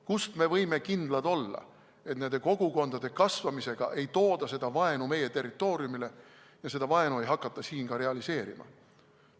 Kuidas me võime kindlad olla, et nende kogukondade kasvamisega ei tooda seda vaenu meie territooriumile ja seda vaenu ei hakata siin ka realiseerima?